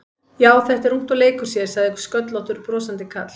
Já, þetta er ungt og leikur sér sagði sköllóttur brosandi karl.